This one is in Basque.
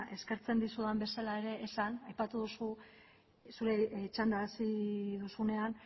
eskertzen dizudan bezala ere esan aipatu duzu zure txanda hasi duzunean